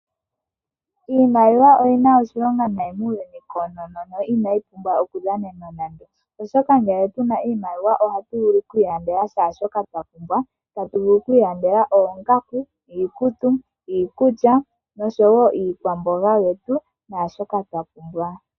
Iimaliwa oyi na oshilonga nayi muuyuni koonono no inayi pumbwa okudhanena nande, oshoka ngele tu na iimaliwa ohatu vulu oku ilandela shaashoka twa pumbwa, tatu vulu oku ilandela oongaku, iikutu, iikulya oshowo iikwamboga yetu naashoka twa pumbwa.